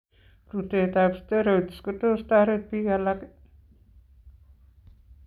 Rutetab steroids kotos koteret biik alak.